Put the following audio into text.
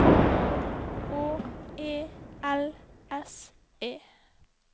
H E L S E